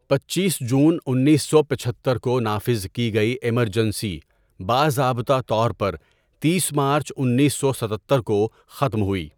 پنچیس جون انیس سو پچہتر کو نافذ کی گئی ایمرجنسی، باضابطہ طور پر تیس مارچ انیس سو ستتر کو ختم ہوئی۔